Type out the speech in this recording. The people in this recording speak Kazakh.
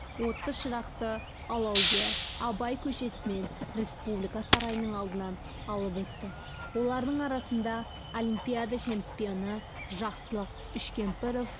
отты шырақты алаугер абай көшесімен республика сарайының алдынан алып өтті олардың арасында олимпиада чемпионы жақсылық үшкемпіров